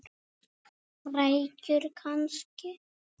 Rækjur kannski?